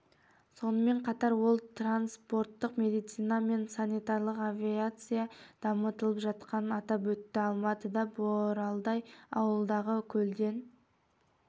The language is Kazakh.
сонымен қатар ол транспорттық медицина мен санитарлық авиация дамытылып жатқанын атап өтті алматыда боралдай ауылындағы көлден